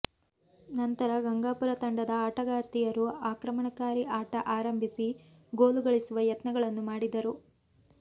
ನಂತರ ಗಂಗಾಪುರ ತಂಡದ ಆಟಗಾರ್ತಿಯರು ಆಕ್ರಮಣಕಾರಿ ಆಟ ಆರಂಭಿಸಿ ಗೋಲು ಗಳಿಸುವ ಯತ್ನಗಳನ್ನು ಮಾಡಿದರು